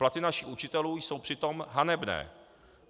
Platy našich učitelů jsou přitom hanebné.